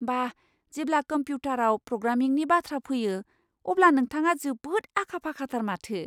बा! जेब्ला कम्प्युटारआव प्रग्रामिंनि बाथ्रा फैयो, अब्ला नोंथाङा जोबोद आखा फाखाथार माथो!